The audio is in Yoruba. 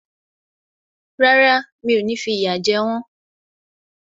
Rárá, mi ò ní fi ìyà jẹ wọ́n